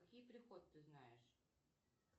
какие приход ты знаешь